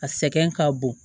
A sɛgɛn ka bon